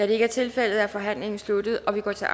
det ikke er tilfældet er forhandlingen sluttet og vi går til